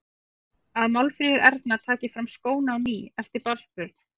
Að Málfríður Erna taki fram skóna á ný eftir barnsburð.